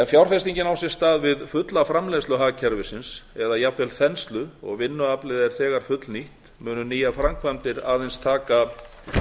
fjárfestingin á sér stað við fulla framleiðslu hagkerfisins eða jafnvel þenslu og vinnuaflið er þegar fullnýtt munu nýjar framkvæmdir aðeins taka